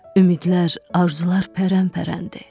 Ümidlər, arzular pərən-pərəndi.